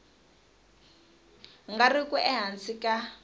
nga ri ku ehansi ka